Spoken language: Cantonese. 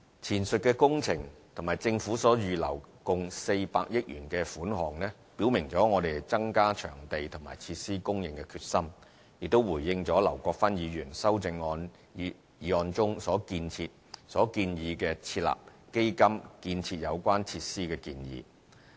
前述工程及政府所預留共400億元的款項，表明了我們增加場地及設施供應的決心，亦回應了劉國勳議員修正案中設立基金建設有關設施的建議。